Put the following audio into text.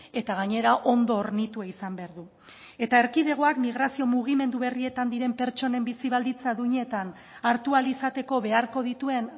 eta gainera ondo hornitua izan behar du eta erkidegoak migrazio mugimendu berrietan diren pertsonen bizi baldintza duinetan hartu ahal izateko beharko dituen